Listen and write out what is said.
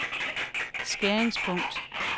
skæringspunkt